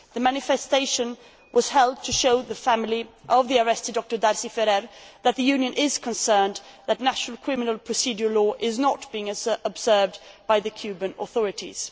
The manifestation was held to show the family of the arrested Dr Darsi Ferrer that the Union is concerned that national criminal procedural law is not being observed by the Cuban authorities.